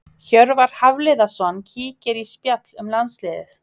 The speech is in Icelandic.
Hjörvar Hafliðason kíkir í spjall um landsliðið.